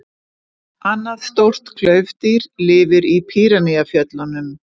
Annað stórt klaufdýr lifir í Pýreneafjöllum.